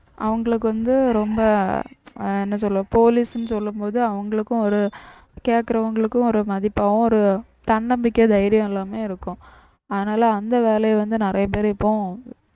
அவங்களுக்கு வந்து ரொம்ப ஆஹ் என்ன சொல்ல police ன்னு சொல்லும் போது அவங்களுக்கும் ஒரு கேட்கிறவங்களுக்கும் ஒரு மதிப்பாவும் ஒரு தன்னம்பிக்கை தைரியம் எல்லாமே இருக்கும் அதனால அந்த வேலையை வந்து நிறைய பேர் இப்போ